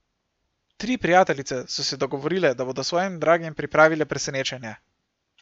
Tri prijateljice so se dogovorile, da bodo svojim dragim pripravile presenečenje.